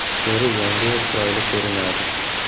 Teri yangi va chiroyli ko‘rinadi.